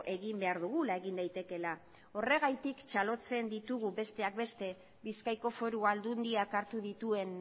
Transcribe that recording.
egin behar dugula egin daitekeela horregatik txalotzen ditugu besteak beste bizkaiko foru aldundiak hartu dituen